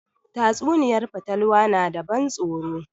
Tatsuniyar fatalwa na da ban tsoro